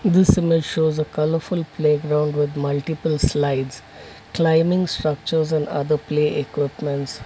this image shows a colourful playground with multiple slides climbing structures and other play equipments.